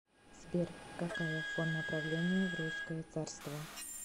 сбер какая форма правления в русское царство